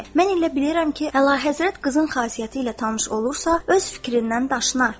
Mən elə bilirəm ki, Həlahəzrət qızın xasiyyəti ilə tanış olursa, öz fikrindən daşınar.